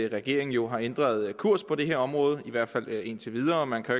regeringen jo har ændret kurs på det her område i hvert fald indtil videre man kan